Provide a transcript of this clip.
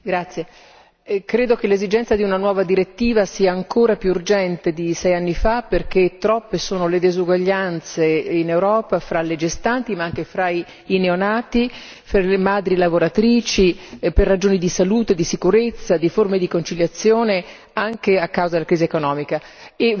Signora Presidente, onorevoli colleghi, credo che l'esigenza di una nuova direttiva sia ancora più urgente di sei anni fa perché troppe sono le diseguaglianze in Europa fra le gestanti, ma anche fra i neonati e fra le madri lavoratrici, per ragioni di salute, di sicurezza, di forme di conciliazione, anche a causa della crisi economica.